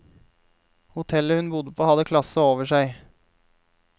Hotellet hun bodde på hadde klasse over seg.